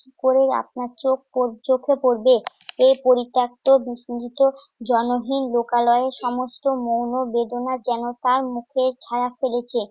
করেও আপনার চোখ~ ও চোখে পড়বে। এই পরিত্যাক্ত বিস্মৃত জনহীন লোকালয়ে সমস্ত মৌণ বেদনা যেন তার মুখে ছায়া ফেলেছে।